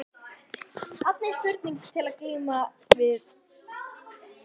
Þarna er spurning til að glíma við.